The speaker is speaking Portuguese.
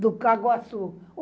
do Caguassu.